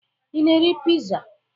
Ị na-eri piza?